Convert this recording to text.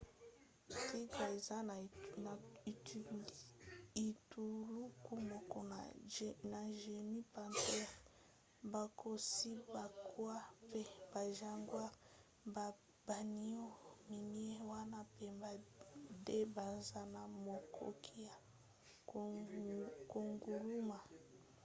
tigre eza na etuluku moko na genus panthera bankosi bankoi mpe bajaguars. baniau minei wana pamba nde baza na makoki ya konguluma